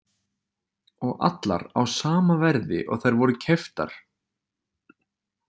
Og allar á sama verði og þær voru keyptar.